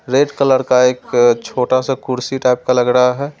Red colour का एक छोटा सा कुर्सी टाइप का लग रहा है।